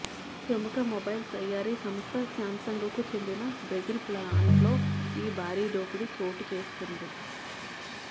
ప్రముఖ మొబైల్ తయారీ సంస్థ శ్యాంసంగ్ కు చెందిన బ్రెజిల్ ఫ్లాంట్ లో ఈ భారీ దోపిడీ చోటు చేసుకుంది